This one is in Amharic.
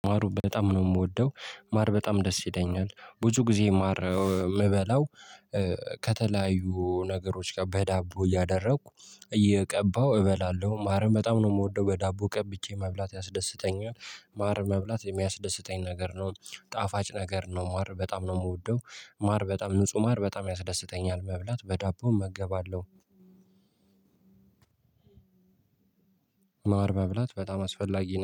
ማር በጣም ነው የምወደው ማር በጣም ደስ ይለኛል ብዙ ጊዜ ማር የምበላው። ከተለያዩ ነገሮች ጋር በዳቦ እያደረኩ እየቀባሁ እበላለሁ ማርም በጣም ነው የምወደው በዳቦ ቀብቼ መብላት ያስደስተኛል። ማር መብላት የሚያስደስተኝ ነገር ነው ጣፋጭ ነገር ነው ማር በጣም ነው የምወደው። ማር በጣም ንጹህ ማር በጣም ያስደስተኛል መብላት በዳቦ እመገባለሁ። ማር መብላት በጣም አስፈላጊ ነው